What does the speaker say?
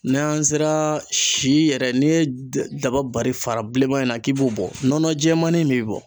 N'an sera si yɛrɛ n'i ye da dabali fara bilenman in na k'i b'o bɔ nɔnɔ jɛmani min be bɔ